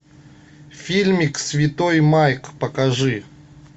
фильмик святой майк покажи